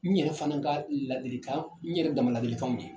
N yɛrɛ fana ka ladilikan n yɛrɛ dama ladilikaw ye.